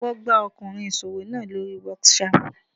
Wọ́n gbá Ọkùnrin oníṣòwò náà lóri whatsapp.